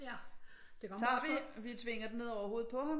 Den tager vi vi tvinger det ned over hovedet på ham